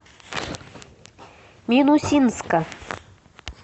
минусинска